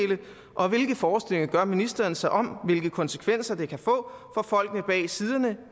og hvilke forestillinger gør ministeren sig om hvilke konsekvenser det kan få for folkene bag siderne